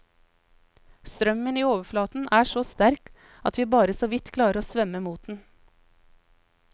Strømmen i overflaten er så sterk at vi bare så vidt klarer å svømme mot den.